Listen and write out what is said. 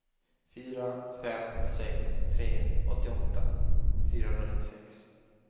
fyra fem sex tre åttioåtta fyrahundranittiosex